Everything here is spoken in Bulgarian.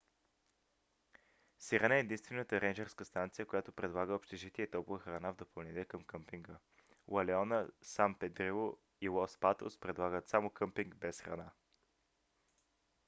сирена е единствената рейнджърска станция която предлага общежитие и топла храна в допълнение към къмпинга. ла леона сан педрило и лос патос предлагат само къмпинг без храна